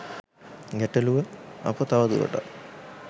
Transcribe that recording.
ගැටළුව අප තවදුරටත්